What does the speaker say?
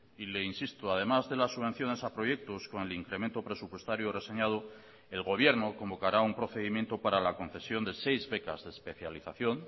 y le insisto además de las subvenciones a proyectos con el incremento presupuestario reseñado el gobierno convocará un procedimiento para la concesión de seis becas de especialización